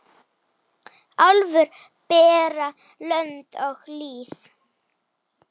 Álfur bera lönd og lýð.